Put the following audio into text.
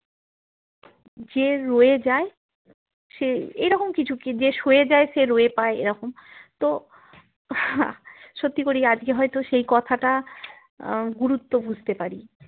যে রয়ে যাই সে এরকম কিছু যে সোয়েজাই সে রোয়েপাই এরকম তো সত্যি করি আজকে হয়তো সেই কথাটা আহ গুরুত্ব বুঝতে পারি